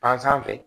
Fan sanfɛ